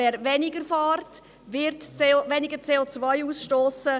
Wer wenig fährt, wird weniger CO ausstossen.